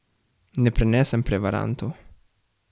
Ne prenesem prevarantov.